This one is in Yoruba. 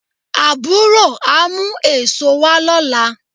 Àbúrò á mú èso wá lọ́la